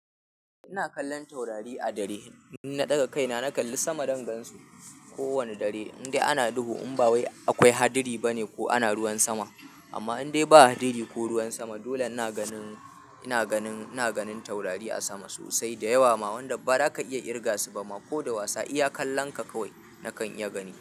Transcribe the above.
Ina kallon taurari a dare, na ɗaga kaina na kalli sama dangansu. Ko wane dare indai ana duhu, in ba wai akwai hadiri bane ko ana ruwan sama. Amma indai ba a hadiri ko ruwan sama, dole ina ganin taurari a sama sosai da yawa ma wanda ba za ka iya irga su ba ma ko da wasa iya kallon ka kawai nakan iya gani.